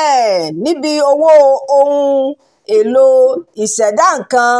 um níbi owó ohun-èlò ìṣẹ̀dá nǹkan